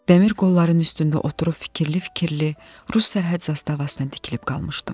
Dəmir qolların üstündə oturub fikirli-fikirli Rus sərhəd zastavasına tikilib qalmışdım.